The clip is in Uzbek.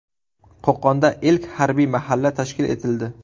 Qo‘qonda ilk harbiy mahalla tashkil etildi .